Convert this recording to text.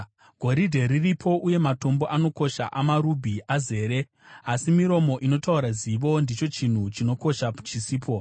Goridhe riripo, uye matombo anokosha amarubhi azere, asi miromo inotaura zivo ndicho chinhu chinokosha chisipo.